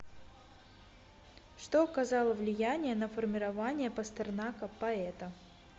что оказало влияние на формирование пастернака поэта